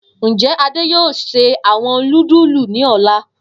Njẹ Ade yoo ṣe awọn nudulu ni ọla?